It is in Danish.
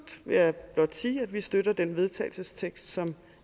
vil jeg blot sige at vi støtter den vedtagelsestekst som